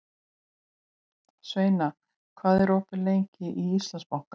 Sveina, hvað er opið lengi í Íslandsbanka?